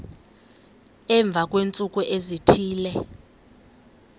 emva kweentsuku ezithile